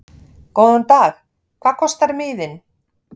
Góðan dag. Hvað kostar miðinn?